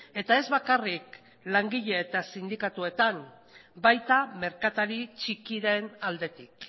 eta ez bakarrik langile eta sindikatuetan baita merkatari txikiren aldetik